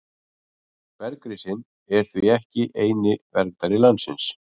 Bergrisinn er því ekki eini verndari landsins.